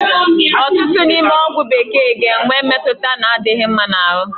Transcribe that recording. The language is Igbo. Ọtụtụ n'ime ọgwụ bekee ga-enwe mmetụta na-adịghị mma n'ahụ